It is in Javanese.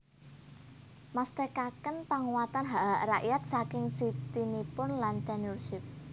Masthekaken penguatan hak hak rakyat saking sitinipun land tenureship